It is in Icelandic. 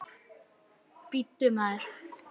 Bíddu, maður.